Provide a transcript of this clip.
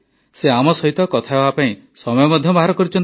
ସେ ଆମ ସହିତ କଥା ହେବାପାଇଁ ସମୟ ମଧ୍ୟ ବାହାର କରିଛନ୍ତି